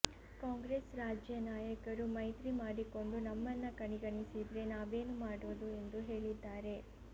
ಕಾಂಗ್ರೆಸ್ ರಾಜ್ಯ ನಾಯಕರು ಮೈತ್ರಿ ಮಾಡಿಕೊಂಡು ನಮ್ಮನ್ನ ಕಡೆಗಣಿಸಿದ್ರೆ ನಾವೇನು ಮಾಡೋದು ಎಂದು ಹೇಳಿದ್ದಾರೆ